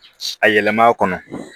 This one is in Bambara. A yɛlɛmana